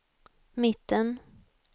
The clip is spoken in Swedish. mitten